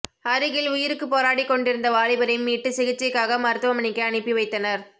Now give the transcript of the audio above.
அருகில் உயிருக்கு போராடிக்கொண்டிருந்த வாலிபரை மீட்டு சிகிச்சைக்காக மருத்துவமனைக்கு அனுப்பி வைத்தனர்